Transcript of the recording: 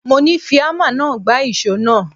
Mo ní Fi ámà náà gbá ìṣó náà.!